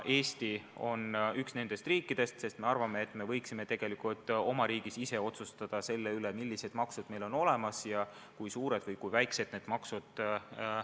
Eesti on üks nendest riikidest, sest me arvame, et me võiksime oma riigis ise otsustada, millised maksud meil olemas on ja kui suured või kui väiksed need on.